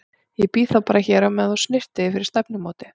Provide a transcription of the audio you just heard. Ég bíð þá bara hér á meðan þú snyrtir þig fyrir stefnumótið.